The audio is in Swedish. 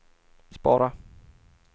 spara